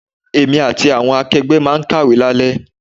Èmi àti àwọn akegbe máa kàwé lale.